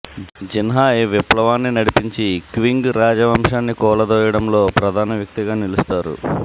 Xinhai విప్లవాన్ని నడిపించి Qing రాజవంశాన్ని కూలదోయడంలో ప్రధాన వ్యక్తిగా నిలుస్తారు